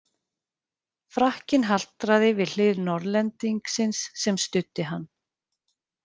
Frakkinn haltraði við hlið Norðlendingsins sem studdi hann.